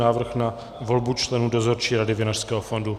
Návrh na volbu členů Dozorčí rady Vinařského fondu